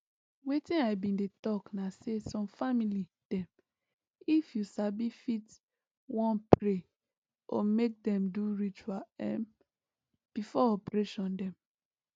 wetin i bin dey think na say some family dem if you sabi fit wan pray or make dem do ritual um before operation dem